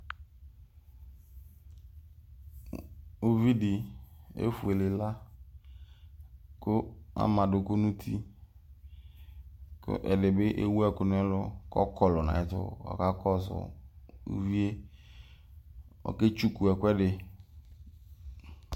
Ʋvi di efuele ila kʋ ama adʋkʋ nʋ uti kʋ ɛdibi ewʋ ɛkʋ nʋ ɛlʋ kʋ ɔkɔlʋ nʋ ayʋ ɛtʋ kʋ ɔkakɔsʋ ʋvi ye ɔketsukʋ ɛkʋɛdi